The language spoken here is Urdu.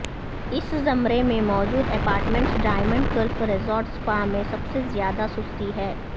اس زمرے میں موجود apartments diamond cliff resort spa میں سب سے زیادہ سستی ہیں